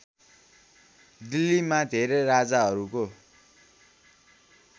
दिल्लीमा धेरै राजाहरूको